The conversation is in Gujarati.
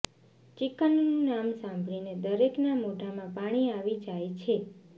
ચિકનનું નામ સાંભળીને દરેકના મોઢામાં પાણી આવી જાય છે